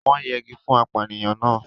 wọ́n yẹgi fún apànìyàn náà.